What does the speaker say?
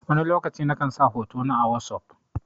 Wani lokaci na kan sa hoto na a wosof.